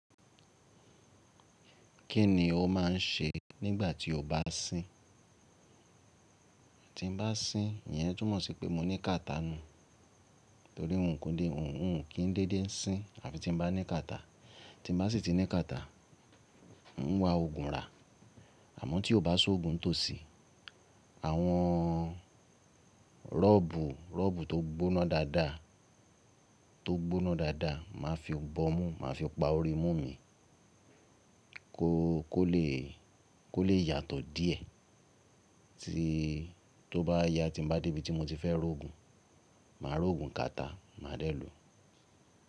Kí ni o máa ń ṣe nígbà tí o bá sín? Tí mo bá sín, ìyẹn túmọ̀ sí pé mo ní kàtá nu. Nítorí nǹkan dé, nǹkan kì í dédé sín àfi tí mo bá ní kàtá. Tí mo bá sì ti ní kàtá, hun ń wa òògùn rà. Àmọ́ tí ó bá sọ òògùn tòsí, àwọn rọ́ọ̀bù, rọ́ọ̀bù tó gbóná dáadáa, tó gbóná dáadáa, màá fi bọ́ mú, màá fi pa orí mú mi kó lè yàtọ̀ díẹ̀. Tí ó bá yá, tí mo bá dé ibi tí mo ti fẹ́ rò òògùn, màá rò òògùn kàtá, màá dé èlò.